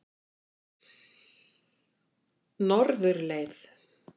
Norðurleið